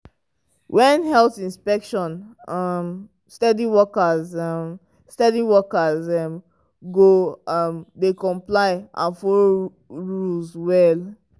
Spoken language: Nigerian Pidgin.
when health inspection um steady workers um steady workers um go um dey comply and follow rules well.